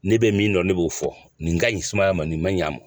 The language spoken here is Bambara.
Ne bɛ min dɔn ne b'o fɔ nin ka ɲin sumanya man nin man ɲ'a mɔn.